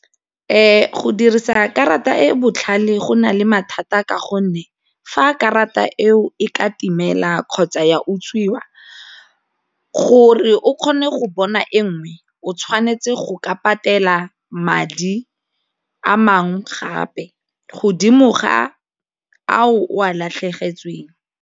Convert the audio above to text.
Go dirisa karata e e botlhale go na le mathata ka gonne fa karata eo e ka timela kgotsa ya utswiwa gore o kgone go bona e nngwe o tshwanetse go ka patela madi a mangwe gape godimo ga a o o a latlhegetsweng.